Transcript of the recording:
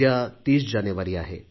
उद्या 30 जानेवारी आहे